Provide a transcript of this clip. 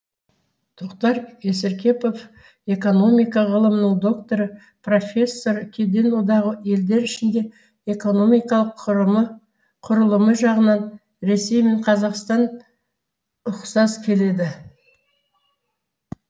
тоқтар есіркепов экономика ғылымының докторы профессор кеден одағы елдері ішінде экономикалық құрылым құрылымы жағынан ресей мен қазақстан ұқсас келеді